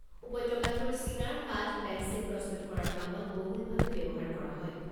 উপত্যকাটোৰ চিনাৰ কাঠ, পেন্সিল প্ৰস্তুত কৰাৰ কামত বহুলভাৱে ব্যৱহাৰ কৰা হয়।